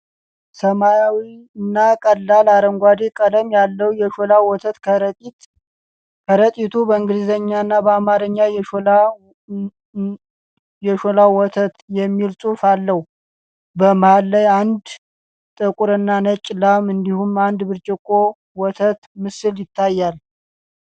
ሰማያዊና ቀላል አረንጓዴ ቀለም ያለው የሾላ ወተት ከረጢት ። ከረጢቱ በእንግሊዝኛና በአማርኛ "የሾና ወተት " የሚል ጽሑፍ አለው። በመሃል ላይ አንድ ጥቁርና ነጭ ላም እንዲሁም አንድ ብርጭቆ ወተት ምስል ይታያል።